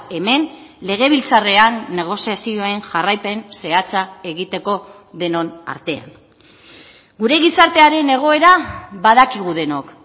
hemen legebiltzarrean negoziazioen jarraipen zehatza egiteko denon artean gure gizartearen egoera badakigu denok